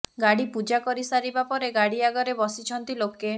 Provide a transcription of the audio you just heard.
ଗାଡ଼ି ପୂଜା କରି ସାରିବା ପରେ ଗାଡ଼ି ଆଗରେ ବସିଛନ୍ତି ଲୋକେ